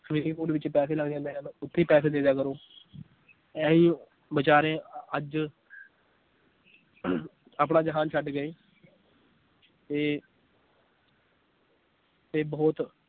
swimming pool ਵਿਚ ਪੈਸੇ ਲੱਗ ਜਾਂਦੇ ਹਨ ਓਥੇ ਪੈਸੇ ਦੇ ਦਿਆ ਕਰੋ ਇਹੀ ਬੇਚਾਰੇ ਅਹ ਅੱਜ ਆਪਣਾ ਜਹਾਨ ਛੱਡ ਗਏ ਤੇ ਤੇ ਬਹੁਤ